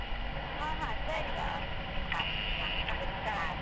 ಹ ಹ, ಸರಿ.